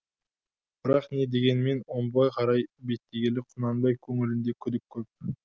бірақ не дегенмен омбыға қарай беттегелі құнанбай көңілінде күдік көп